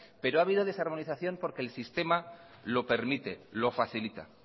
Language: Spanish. pero ha habido desarmonización porque el sistema lo permite lo facilita